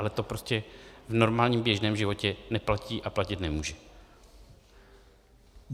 Ale to prostě v normálním běžném životě neplatí a platit nemůže.